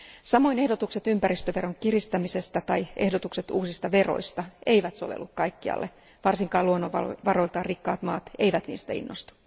Samoin ehdotukset ympäristöveron kiristämisestä tai ehdotukset uusista veroista eivät sovellu kaikkialle, varsinkaan luonnonvaroiltaan rikkaat maat eivät niistä innostu.